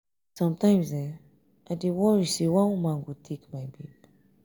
sometimes i dey worry say one woman go take my babe